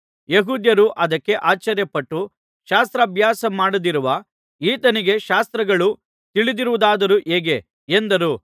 ಯೆಹೂದ್ಯರು ಅದಕ್ಕೆ ಆಶ್ಚರ್ಯಪಟ್ಟು ಶಾಸ್ತ್ರಭ್ಯಾಸ ಮಾಡದಿರುವ ಈತನಿಗೆ ಶಾಸ್ತ್ರಗಳು ತಿಳಿದಿರುವುದಾದರೂ ಹೇಗೆ ಎಂದರು